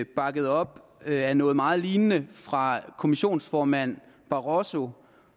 bakket op af noget meget lignende fra kommissionsformand barosso